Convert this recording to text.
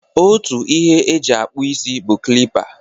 Otu ihe e ji akpụ isi bụ klipa.